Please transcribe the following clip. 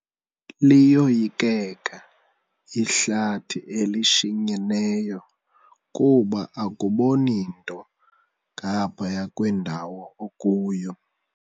Liyoyikeka ihlathi elishinyeneyo kuba akuboni nto ngaphaya kwendawo okuyo.